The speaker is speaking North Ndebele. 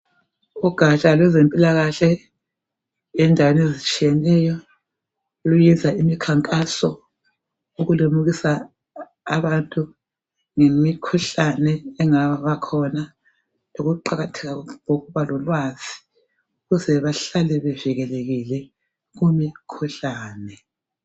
Ugatsha lwezempilakahle endaweni ezitshiyeneyo luyenza imikhankaso. Ukulimukisa abantu ngemikhuhlane engabakhona, lokuqakatheka kokuba lolwazi ukuze bahlale bevikelekile kumikhuhlane.